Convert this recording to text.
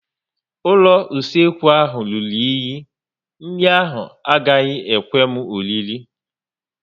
Ụlọ usekwu ha rụrụ enyi, nri ahụ agaghị ekwe m oriri